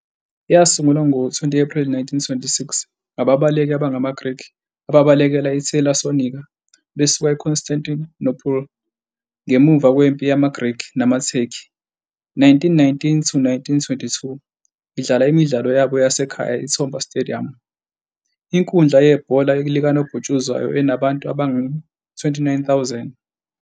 Yasungulwa ngo-20 April 1926 ngAbabaleki abangamaGrikhi ababalekela IThesalonika besuka IConstantinople ngemuva kweMpi yamaGrikhi namaTurkey, 1919-1922, idlala imidlalo yabo yasekhaya I-Toumba Stadium, inkundla yebhola likanobhutshuzwayo enabantu abangu-29,000.